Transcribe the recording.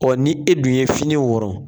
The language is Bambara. Ɔɔ ni e dun ye fini wɔrɔn